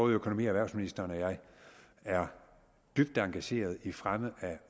økonomi og erhvervsministeren og jeg er dybt engageret i fremme af